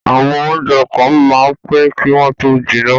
àwọn oúnjẹ kan máa ń pẹ́ kí wọ́n tó jiná